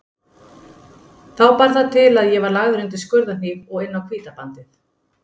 Þá bar það til að ég var lagður undir skurðarhníf og inn á Hvítabandið.